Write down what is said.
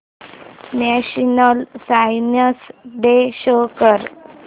national science day show कर